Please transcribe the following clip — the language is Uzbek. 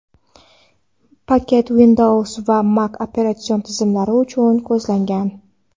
Paket Windows va Mac operatsion tizimlari uchun ko‘zlangan.